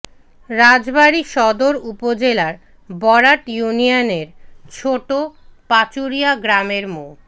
রাজবাড়ী সদর উপজেলার বরাট ইউনিয়নের ছোট পাচুরিয়া গ্রামের মো